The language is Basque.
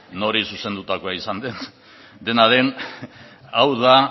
nori zuzendutakoa izan den dena den hau da